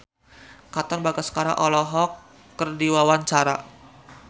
Katon Bagaskara olohok ningali Richard Gere keur diwawancara